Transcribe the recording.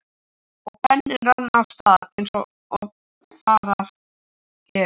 Og penninn rann af stað eins og fara gerir.